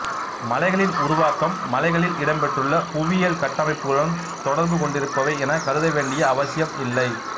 மலைகளின் உருவாக்கம் மலைகளில் இடம்பெற்றுள்ள புவியியல் கட்டமைப்புகளுடன் தொடர்பு கொண்டிருப்பவை எனக் கருத வேண்டிய அவசியம் இல்லை